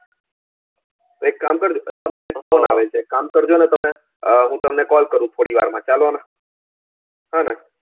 એક કામ અલા મને એક call આવે છે એક કામ કરજો ને તમે અમ હું તમને call કરું છું થોડી વાર માં ચાલો ને હોને